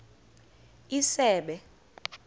isebe